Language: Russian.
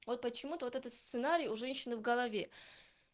вот почему-то вот этот сценарий у женщины в голове